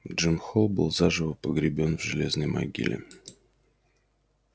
джим холл был заживо погребён в железной могиле